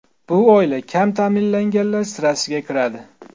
Bu oila kam ta’minlanganlar sirasiga kiradi.